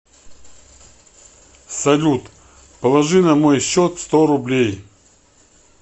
салют положи на мой счет сто рублей